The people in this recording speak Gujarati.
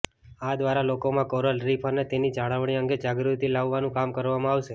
આ દ્વારા લોકોમાં કોરલ રીફ અને તેની જાળવણી અંગે જાગૃતિ લાવવાનું કામ કરવામાં આવશે